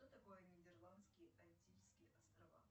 что такое нидерландские антильские острова